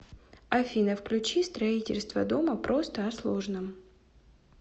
афина включи строительство дома просто о сложном